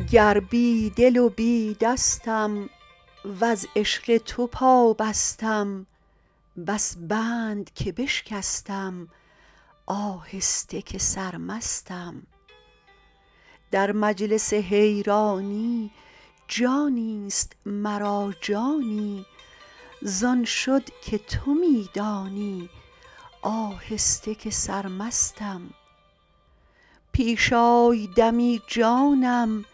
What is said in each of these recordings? گر بی دل و بی دستم وز عشق تو پابستم بس بند که بشکستم آهسته که سرمستم در مجلس حیرانی جانی است مرا جانی زان شد که تو می دانی آهسته که سرمستم پیش آی دمی جانم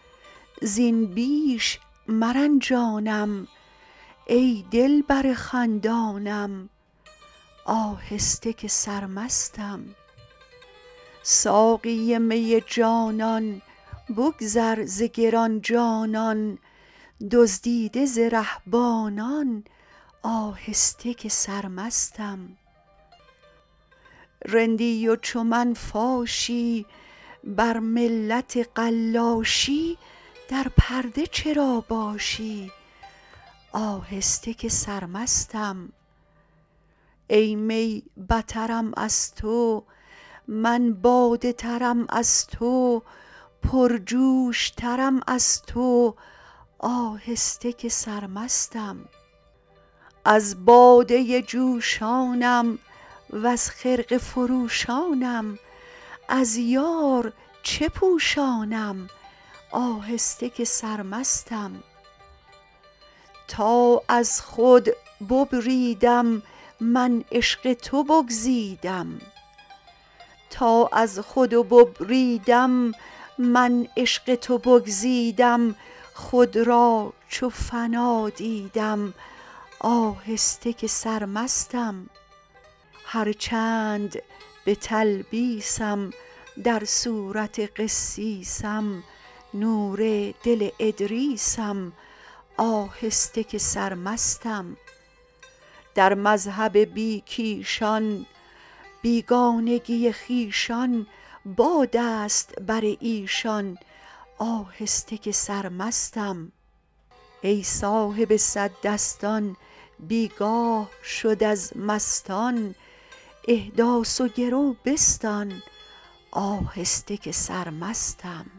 زین بیش مرنجانم ای دلبر خندانم آهسته که سرمستم ساقی می جانان بگذر ز گران جانان دزدیده ز رهبانان آهسته که سرمستم رندی و چو من فاشی بر ملت قلاشی در پرده چرا باشی آهسته که سرمستم ای می بترم از تو من باده ترم از تو پرجوش ترم از تو آهسته که سرمستم از باده جوشانم وز خرقه فروشانم از یار چه پوشانم آهسته که سرمستم تا از خود ببریدم من عشق تو بگزیدم خود را چو فنا دیدم آهسته که سرمستم هر چند به تلبیسم در صورت قسیسم نور دل ادریسم آهسته که سرمستم در مذهب بی کیشان بیگانگی خویشان باد است بر ایشان آهسته که سرمستم ای صاحب صد دستان بی گاه شد از مستان احداث و گرو بستان آهسته که سرمستم